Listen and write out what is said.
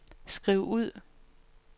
skriv ud